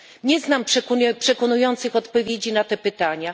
Nie znam przekonujących odpowiedzi na te pytania.